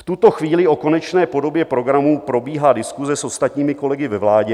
V tuto chvíli o konečné podobě programu probíhá diskuse s ostatními kolegy ve vládě.